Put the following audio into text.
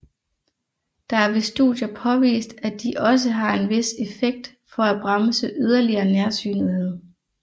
Der er ved studier påvist at de også har en vis effekt for at bremse yderligere nærsynethed